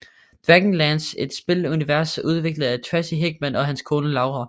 Dragonlance Et spilunivers udviklet af Tracy Hickman og hans kone Laura